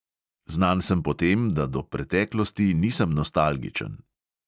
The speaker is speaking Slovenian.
Znan sem po tem, da do preteklosti nisem nostalgičen.